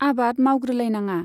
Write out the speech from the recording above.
आबाद मावग्रोलायनाङा।